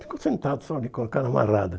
Ficou sentado só ali com a cara amarrada.